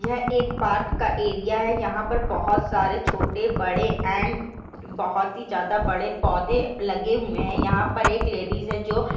यह एक पार्क का एरिया है। यहा पर बहुत सारे छोटे बड़े एण्ड बहुत ही ज्यादा पौधे लगे हुए हैं। यहाँ पर एक लेडिज है। जो--